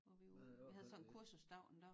Hvor vi var ude vi havde sådan en kursusdag en dag